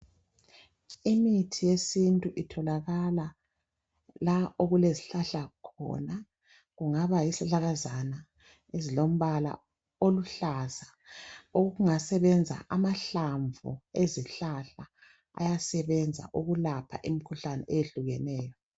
Imithi eyesintu itholakala la okulezihlahla khona kungaba yisihlahlakazana esilombala oluhlaza okungasebenza amahlamvu esihlahla ayasebenza ukulapha imikhuhlane eyehlukeneyo.